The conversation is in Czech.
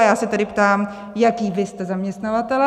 A já se tedy ptám, jací vy jste zaměstnavatelé.